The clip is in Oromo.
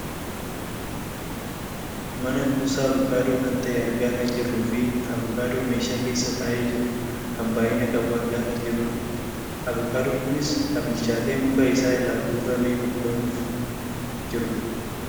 mana kuusaa avokaadoo kan ta'e argaa kan jirruufi avukaadoo meeshaa keessa taa'ee jiru kan baayyina qabu argaa kan jirrudha. avokaadoon kunis kan bilchatee muka isaa irraa guurramee gurguramuuf kan jirudha.